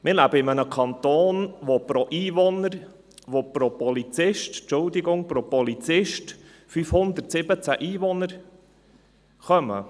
Wir leben in einem Kanton, in dem auf einen Polizist 517 Einwohner fallen.